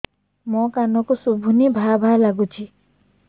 ମୋ କାନକୁ ଶୁଭୁନି ଭା ଭା ଲାଗୁଚି